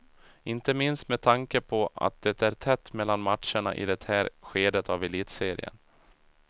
Inte minst med tanke på att det är tätt mellan matcherna i det här skedet av elitserien.